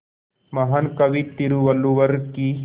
महान कवि तिरुवल्लुवर की